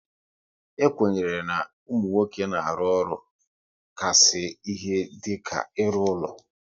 E kwenyere na ụmụ nwoke na-arụ ọrụ ka sị ike dịka ịrụ ụlọ